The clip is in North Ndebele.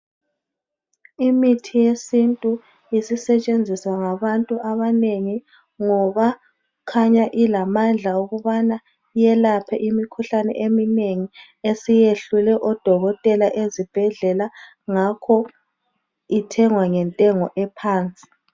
Imithi yesintu isisetshenziswa ngabantu abanengi ngoba khanya ilamandla yokuthi yelaphe imikhuhlane eminengi esiyehlule odokotela ezibhedlela ngakho ithengwa ngentengo ephansi.